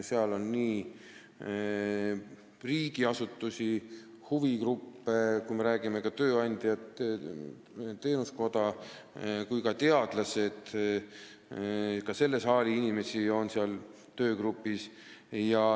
Seal on riigiasutuste ja huvigruppide esindajaid, ka tööandjaid, Teenusmajanduse Koja inimesi ja teadlasi, ka selle saali inimesi on seal töögrupis.